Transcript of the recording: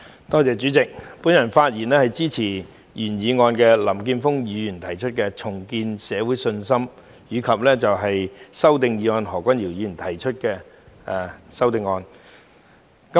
代理主席，我發言支持林健鋒議員的"重建社會信心"議案，以及何君堯議員提出的修正案。